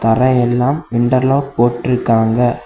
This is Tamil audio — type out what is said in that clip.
அப்புறம் எல்லாம் இன்டெர்லக் போட்டீர்காங்க.